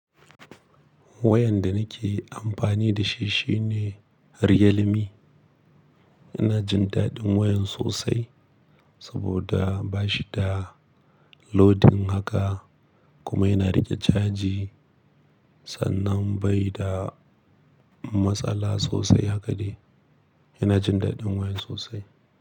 Wayan da nake amfani da shi shine Redmi. Ina jin daɗin wayan sosai saboda ba shi da loading haka kuma yana riƙe caji sannan bai da matsala sosai haka dai. Ina jin daɗin waya sosai.